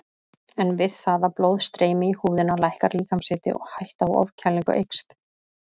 En við það að blóð streymi í húðina lækkar líkamshiti og hætta á ofkælingu eykst.